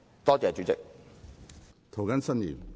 多謝主席。